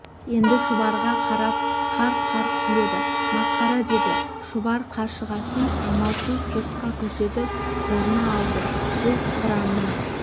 енді шұбарға қарап қарқ-қарқ күледі масқара деді шұбар қаршығасын амалсыз жұртқа көрсетіп қолына алды бұл қыранның